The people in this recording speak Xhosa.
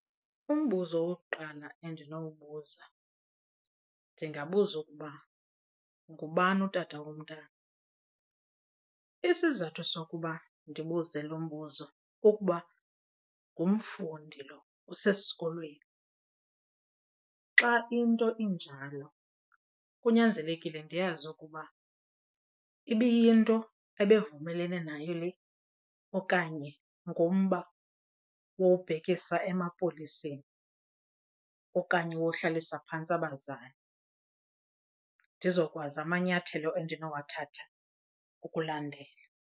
Umbuzo wokuqala endinowubuza ndingabuza ukuba ngubani utata womntana. Isizathu sokuba ndibuze lo mbuzo kukuba ngumfundi lo usesikolweni. Xa into injalo kunyanzelekile ndiyazi ukuba ibiyinto ebevumelene nayo le okanye ngumba wowubhekisa emapoliseni okanye wohlalisa phantsi abazali, ndizokwazi amanyathelo endinowathatha ukulandela.